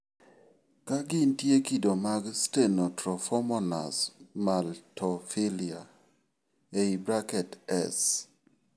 Ka gintie, kido mag Stenotrophomonas maltophilia (S.